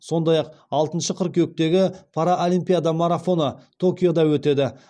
сондай ақ алтыншы қыркүйектегі паралимпиада марафоны токиода өтеді